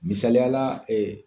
Misaliyala ɛɛ